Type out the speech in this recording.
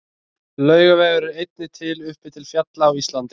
Laugavegur er einnig til uppi til fjalla á Íslandi.